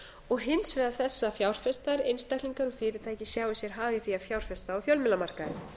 og hins vegar þess að fjárfestar einstaklingar og fyrirtæki sjái sér hag í því að fjárfesta á fjölmiðlamarkaði